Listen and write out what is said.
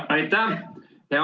Aitäh!